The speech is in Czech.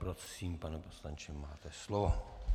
Prosím, pane poslanče, máte slovo.